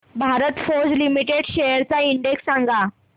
Bharat forge limited shares चा index सांगा